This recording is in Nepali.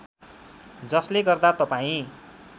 जसले गर्दा तपाईँ